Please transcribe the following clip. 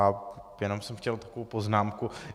A jenom jsem chtěl takovou poznámku.